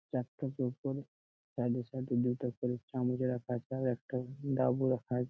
চারটে টোপর তার এ সাইড -এ সাইড -এ দুটো দুটা করে চামচ রাখা আছে আর একটা ডাব রাখা আ--